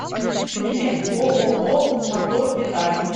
билет ооо мотордеталь